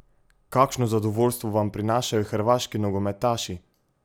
Kakšno zadovoljstvo vam prinašajo hrvaški nogometaši?